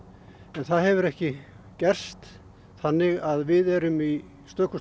það hefur ekki gerst þannig að við erum í stökustu